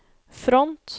front